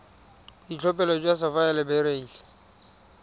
boitlhophelo jwa sapphire le beryl